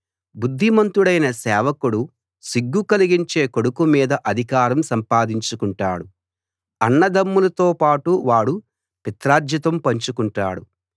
బుద్ధిమంతుడైన సేవకుడు సిగ్గు కలిగించే కొడుకు మీద అధికారం సంపాదించుకుంటాడు అన్నదమ్ములతో పాటు వాడు పిత్రార్జితం పంచు కుంటాడు